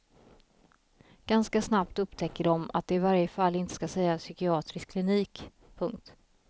Ganska snabbt upptäcker de att de i varje fall inte ska säga psykiatrisk klinik. punkt